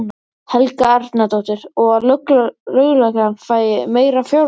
Helga Arnardóttir: Og að lögreglan fái meira fjármagn?